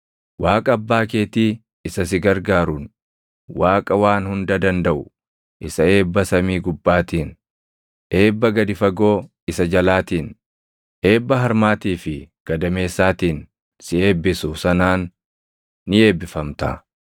Waaqa abbaa keetii isa si gargaaruun, Waaqa Waan Hunda Dandaʼu isa eebba samii gubbaatiin, eebba gadi fagoo isa jalaatiin, eebba harmaatii fi gadameessaatiin si eebbisu sanaan // ni eebbifamta.